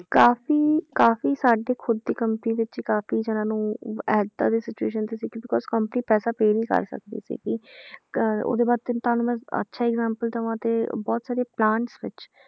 ਕਾਫ਼ੀ ਕਾਫ਼ੀ ਸਾਡੇ ਤੇ ਖੁੱਦ ਦੀ company ਵਿੱਚ ਹੀ ਕਾਫ਼ੀ ਜਾਣਿਆਂ ਨੂੰ ਏਦਾਂ ਦੀ situation 'ਚ ਸੀ because company ਪੈਸਾ pay ਨੀ ਕਰ ਸਕਦੀ ਸੀਗੀ ਕ~ ਉਹਦੇ ਵਾਸਤੇ ਤੁਹਾਨੂੰ ਮੈਂ ਅੱਛਾ example ਦੇਵਾਂ ਤੇ ਬਹੁਤ ਸਾਰੇ plants ਵਿੱਚ